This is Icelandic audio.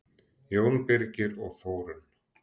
Jón Birgir og Þórunn.